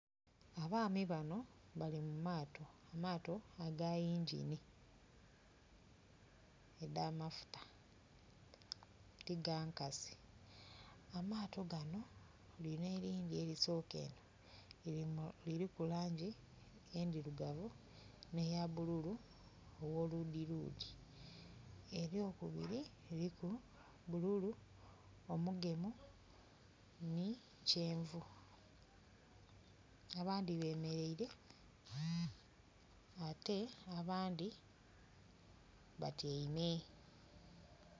Abaami bano bali mu maato, amaato aga yingini edh'amafuta ti ga nkasi. Amaato gano, lino erindhi erisoka eno liliku langi endhirugavu ne eya bululu ogho ludhiludhi, ery'okubiri liliku bululu omugemu ni kyenvu. Abandhi bemeleire ate abandhi batyeime.